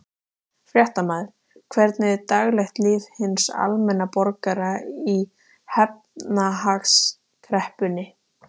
Fréttamaður: Hvernig er daglegt líf hins almenna borgara í efnahagskreppunni?